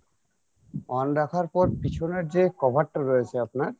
on রাখার পর পিছনের যে cover টা রয়েছে আপনার